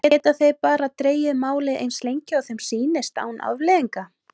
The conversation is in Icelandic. Geta þeir bara dregið málið eins lengi og þeim sýnist án afleiðinga?